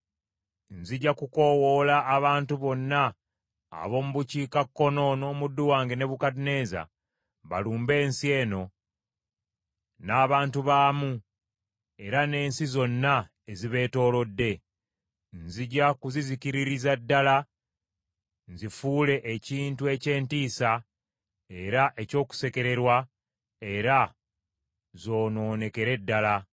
nzija kukoowoola abantu bonna ab’omu bukiikakkono n’omuddu wange Nebukadduneeza, balumbe ensi eno n’abantu baamu era n’ensi zonna ezibeetoolodde. Nzija kuzizikiririza ddala nzifuule ekintu eky’entiisa era eky’okusekererwa, era zoonoonekere ddala.